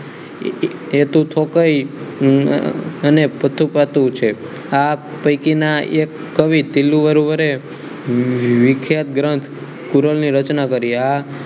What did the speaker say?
આ પૈકીના એક કવિએ તીલુવરુવરે વિખ્યાત ગ્રંથ કોરલ ની રચના કરી